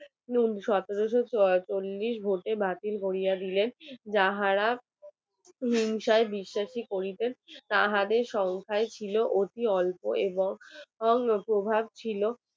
হিংসায় বিশ্বাস করিতেন তাহাদের সংখ্যায় ছিল অতি অল্প এবং প্রভাব ছিল